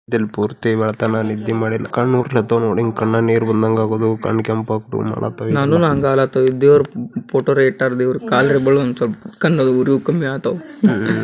ಬುದ್ಧ ಮೂರ್ತಿ ನಿದ್ದೆ ಮಾಡಕತನ ಕಣ್ಣು ಉರಿಕತನ ನೋಡಿ ಹಿಂಗ್ ಕಣ್ಣು ನೀರ್ ಬಂದಾಗ ಹಾಗೋದು ಕಣ್ಣು ಕೆಂಪ್ ಆಗ್ತಾವ ಮಲಕ್ತವಾ ದೇವ್ರ್ ಫೋಟೋ ಇಟ್ಟರ ದೇವ್ರ್ ಕಾಲ್ ಕಣ್ಣು ಉರೋಧು ಕಮ್ಮಿನ್ ಆಗ್ತಾವ್ .